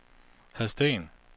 Hadsten